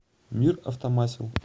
мир автомасел